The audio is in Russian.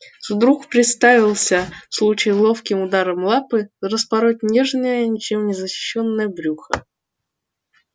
вдруг представился случай ловким ударом лапы распороть нежное ничем не защищённое брюхо